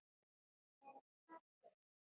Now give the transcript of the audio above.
Nei, hvað sé ég?